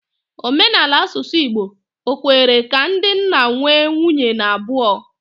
Omenala asusu Igbo, ọ̀ kwere ka ndị nna nwee nwunye n'abuo?